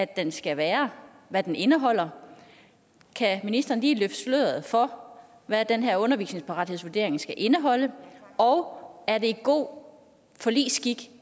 den skal være og hvad den indeholder kan ministeren lige løfte sløret for hvad den her uddannelsesparathedsvurdering skal indeholde og er det god forligsskik